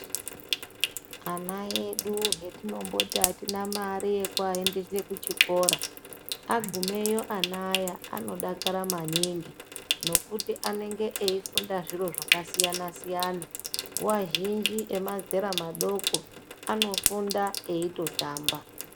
Ana edu etinomboti hatina mare yekuaendese kuchikora agumeyo ana aya anodakara maningi, nekuti anenge eyifunda zviro zvakasiyana-siyana. Nguwa zhinji emazera madoko, anofunda eyitotamba.